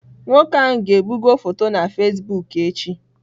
Nwoke ahụ ga-ebugo foto na Fasibụk echi.